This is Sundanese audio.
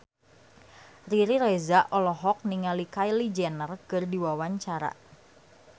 Riri Reza olohok ningali Kylie Jenner keur diwawancara